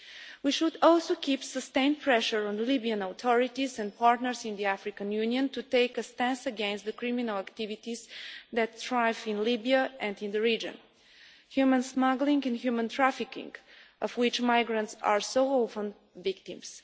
We should also keep sustained pressure on the Libyan authorities and partners in the African Union to take a stance against the criminal activities that thrive in Libya and in the region, human smuggling and human trafficking of which migrants are so often victims.